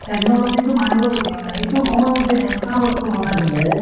technology টো মনিব লগীয়া মানে । সেইটো সময়ত যে এনেকুৱা বস্তু বনাইছিলে